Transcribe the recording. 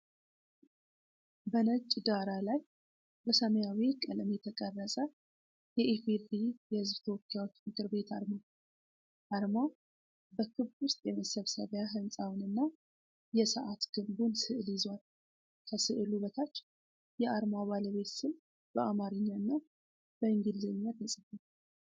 በነጭ ዳራ ላይ በሰማያዊ ቀለም የተቀረፀ የኢ.ፌ.ዴ.ሪ. የህዝብ ተወካዮች ምክር ቤት አርማ። አርማው በክብ ውስጥ የመሰብሰቢያ ሕንጻውንና የሰዓት ግንቡን ስዕል ይዟል። ከስዕሉ በታች የአርማው ባለቤት ስም በአማርኛ እና በእንግሊዘኛ ተጽፏል።